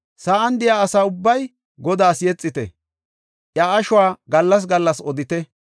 Sa7an de7iya asa ubbay Godaas yexite; iya ashuwa gallas gallas odite.